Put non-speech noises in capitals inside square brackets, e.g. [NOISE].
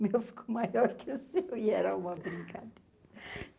Meu ficou maior que o seu e era uma brincadeira. [LAUGHS]